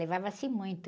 Levava-se muito.